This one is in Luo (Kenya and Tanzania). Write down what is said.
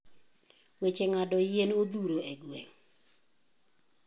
weche ngado yien odhuro e gweng'.